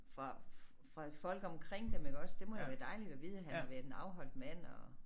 Fra fra folk omkring dem iggås det må da være dejligt at vide han har været en afholdt mand og